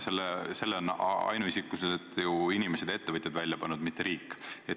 Selle on ainuisikuliselt ju inimesed ja ettevõtjad välja pannud, mitte riik.